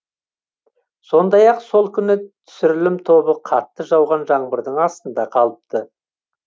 сондай ақ сол күні түсірілім тобы қатты жауған жаңбырдың астында қалыпты